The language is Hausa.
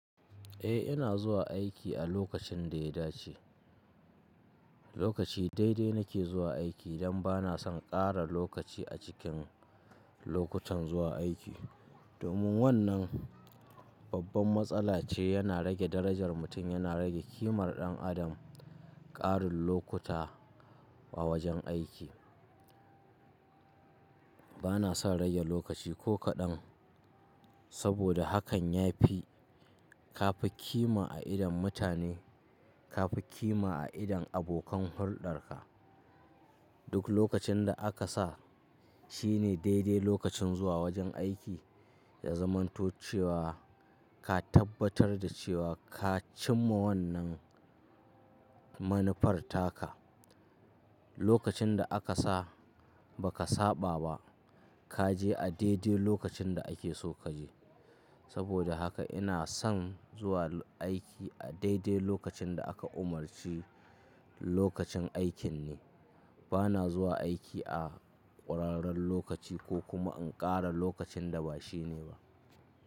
Eh ina zuwa aiki a lokacin da ya dace, lokaci daidai nake zuwa aiki dan bana son ƙara lokaci a cikin lokutan zuwa aiki. Domin wannan babban matsala ce yana rage darajar mutum, yana rage ƙimar ɗan adam ƙarin lokuta a wajen aiki. Bana son rage lokaci ko kaɗan saboda hakan ya fi ka fi ƙima a idon mutane, ka fi ƙima a idon abokan hulɗarka. Duk lokacin da aka sa shine daidai lokacin zuwa wajen aiki ya zamanto cewa ka tabbatar da cewa ka cimma wannan manufar taka. Lokacin da aka sa ba ka saɓa ba kaje a daidai lokacin da ake so kaje. Saboda haka ina son zuwa aiki a daidai lokacin da aka umarci lokacin aikin ne. Bana zuwa aiki a ƙurarren lokaci ko kuma in ƙara lokacin da ba shi ne ba.